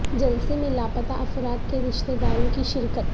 جلسے میں لاپتہ افراد کے رشتہ داروں کی شرکت